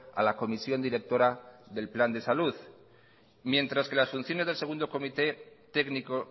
a la comisión directora del plan de salud mientras que las funciones del segundo comité técnico